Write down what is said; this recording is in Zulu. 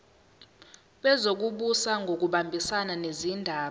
wezokubusa ngokubambisana nezindaba